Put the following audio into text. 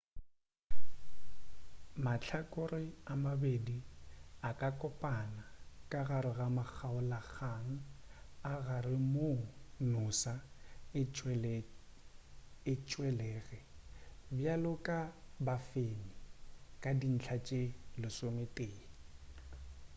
mahlakore a mabedi a ka kopana ka gare ga makgaolakgang a gare moo noosa e tšwelege bjalo ka bafenyi ka dintlha tše 11